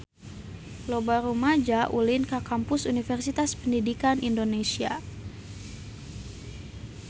Loba rumaja ulin ka Kampus Universitas Pendidikan Indonesia